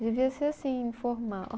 Devia ser assim, informal.